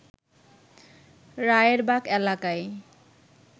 রায়েরবাগ এলাকায়